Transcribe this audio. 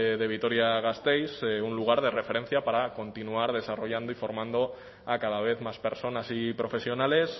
de vitoria gasteiz un lugar de referencia para continuar desarrollando y formando a cada vez más personas y profesionales